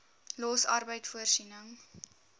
los arbeid voorsiening